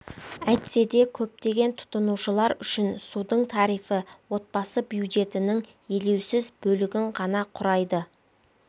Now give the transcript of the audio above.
әйтсе де көптеген тұтынушылар үшін судың тарифі отбасы бюджетінің елеусіз бөлігін ғана құрайды